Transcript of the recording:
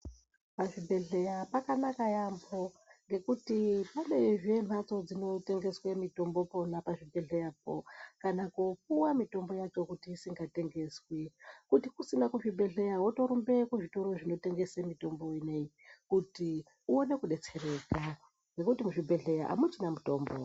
Pazvibhedhlera pakanaka yaamho ngekuti panezve mhatso dzinotengeswe mutombo pona pazvibhedhleyapo kana kopuva mitombo yacho kuti isingatengeswi. Kuti kusina kuzvibhedhleya votorumbe kuzvitoro zvinotengese mitombo inoiyi kuti uone kubetsereka, ngekuti muzvibhedhleya hamuchina mutombo.